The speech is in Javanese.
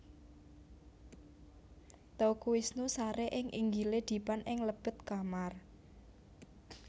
Teuku Wisnu sare ing inggile dipan ing lebet kamar